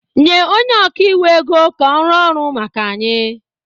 nye onye ọka iwu ego ka ọ rụọ ọrụ maka anyị